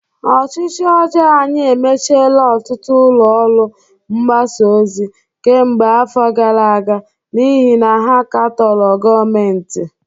Ọchịchị ọjọọ anyị emechiela ọtụtụ ụlọ ọrụ mgbasa ozi kemgbe afọ gara aga n'ihi na ha katọrọ gọọmentị